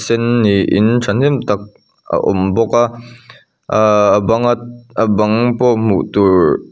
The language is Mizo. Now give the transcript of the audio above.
sen niin tha hnem tak a awm bawk a aaa a bang at a bang pawh hmuh turhh--